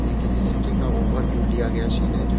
ये किसी सिटी का ओवरव्यू लिया गया सीन है जो --